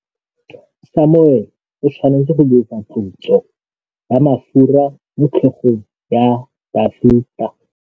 Samuele o tshwanetse go dirisa tlotsô ya mafura motlhôgong ya Dafita.